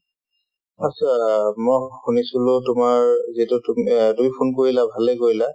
মই শুনিছিলো তোমাৰ যিটো তুমি phone কৰিলা ভালে কৰিলা